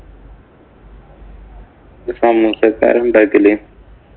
സമൂസയൊക്കെ ആരാ ഉണ്ടാക്കല്?